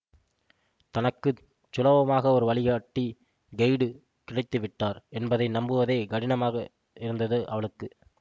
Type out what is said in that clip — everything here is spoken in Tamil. தனக்கு சுலபமாக ஒரு வழிகாட்டி கெய்டு கிடைத்துவிட்டார் என்பதை நம்புவதே கடினமாக இருந்தது அவளுக்கு